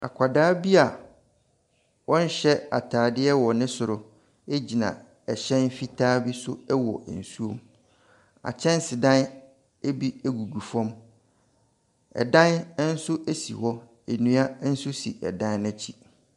Akwadaa bi a ɔnnhyɛ ataadeɛ wɔ ne soro egyina ɛhyɛn fitaa bi so ɛwɔ nsuom. Akyɛnsedan bi egugu fam. Ɛdan ɛnso esi hɔ. Nnua nso si ɛdan n'akyi.